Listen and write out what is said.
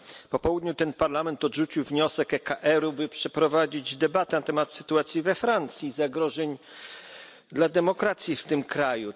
Po południu Parlament odrzucił wniosek ECR, by przeprowadzić debatę na temat sytuacji we Francji i zagrożeń dla demokracji w tym kraju.